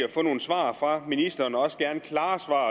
at få nogle svar fra ministeren også gerne klare svar